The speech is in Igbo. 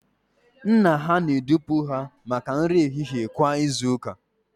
Nna ha na-edupụ ha maka nri ehihie kwa izu ụka